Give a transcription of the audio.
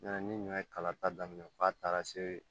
Ɲina ni ɲɔ ye kala ta daminɛ f'a taara se